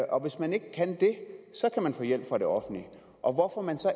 og hvis man ikke kan det kan man få hjælp fra det offentlige og hvorfor